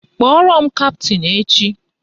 Kpọrọ m kaptịn echi!